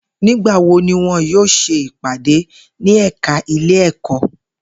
Nigbawo ni wọn yoo ṣe ipade ni ẹka ile-ẹkọ?